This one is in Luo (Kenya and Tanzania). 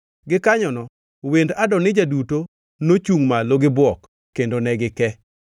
Gikanyono wend Adonija duto nochungʼ malo gi bwok kendo ne gike.